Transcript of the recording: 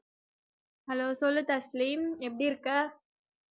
Hello சொல்லு தஸ்லிம் எப்படி இருக்க?